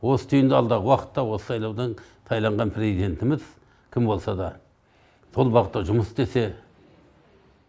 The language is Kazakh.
осы түйінде алдағы уақытта осы сайлаудан сайланған президентіміз кім болса да сол бағытта жұмыс істесе